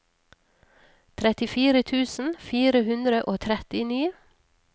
trettifire tusen fire hundre og trettini